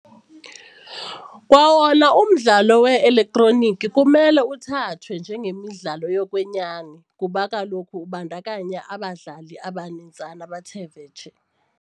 Kwawona umdlalo we-elektroniki kumele uthathwe njengemidlalo yokwenyani kuba kaloku ubandakanya abadlali abanintsana abathe vetshe.